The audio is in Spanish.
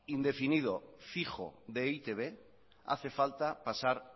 indefinido fijo de e i te be hace falta pasar